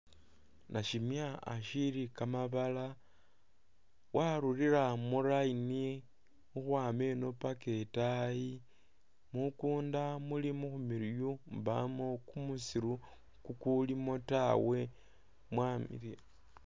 Nashimya ashili kamabala barulila mu line ukhwama ino paka itaayi mukunda muli mukhumiliyu mbamo kumisiru kukulimo taawe